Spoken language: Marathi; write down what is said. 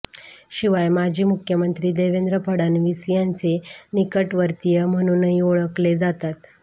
शिवाय माजी मुख्यमंत्री देवेंद्र फडणवीस यांचे निकटवर्तीय म्हणूनही ओळखले जातात